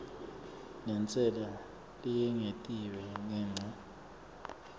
nentsela leyengetiwe ngenca